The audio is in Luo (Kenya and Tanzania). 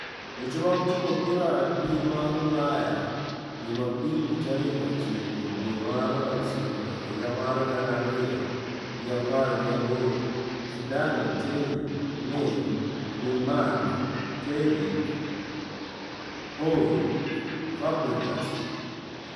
Weche mag Tugo Opira e Pinje mag Ulaya Jumapil tarik ochiko dwe mar ochiko higa mar gana ariyo gi apar gi aboro: Zidane, Terry, Neves, Griezmann, Terry, Howe, Fabregas,